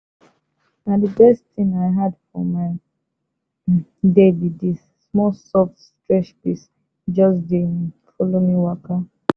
na the best thing i add for my um day be this small soft stretch peace just dey follow me waka.